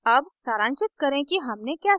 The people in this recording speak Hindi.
अब सारांशित करें कि हमने क्या सीखा